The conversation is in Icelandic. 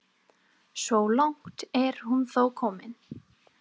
Svo langt er hún þó komin.